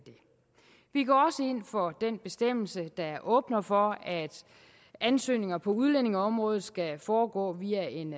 vi går også ind for den bestemmelse der åbner for at ansøgninger på udlændingeområdet skal foregå via en